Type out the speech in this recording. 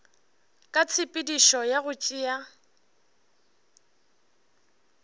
ka tshepedišo ya go tšea